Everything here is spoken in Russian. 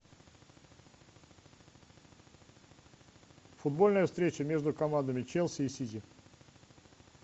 футбольная встреча между командами челси и сити